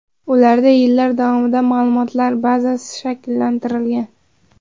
Ularda yillar davomida ma’lumotlar bazasi shakllantirilgan.